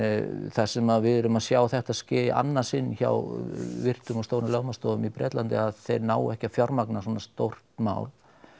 þar sem að við erum að sjá þetta ske í annað sinn hjá virtum og stórum lögmannsstofum í Bretlandi að þeir nái ekki að fjármagna svona stórt mál